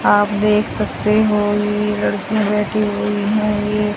आप देख सकते हो ये लड़कीयां बैठी हुई है ये--